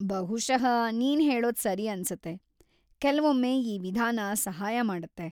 ಬಹುಶಃ ನೀನ್‌ ಹೇಳೋದ್ ಸರಿ‌ ಅನ್ಸತ್ತೆ, ಕೆಲ್ವೊಮ್ಮೆ ಈ ವಿಧಾನ ಸಹಾಯ ಮಾಡುತ್ತೆ.